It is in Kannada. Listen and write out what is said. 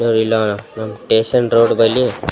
ಹ್ಹು ಇಲ್ಲ ಟೆಷನ್ ರೋಡ್ ಬಲ್ಲಿ --